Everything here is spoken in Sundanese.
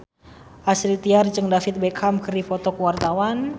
Astrid Tiar jeung David Beckham keur dipoto ku wartawan